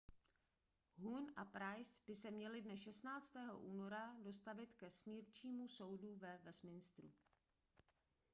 huhne a pryce by se měli dne 16. února dostavit ke smírčímu soudu ve westminsteru